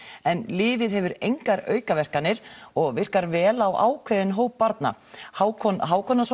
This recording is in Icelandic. en lyfið hefur engar aukaverkanir og virkar vel á ákveðinn hóp barna Hákon Hákonarson